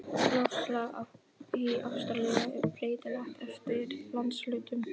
Loftslag í Ástralíu er breytilegt eftir landshlutum.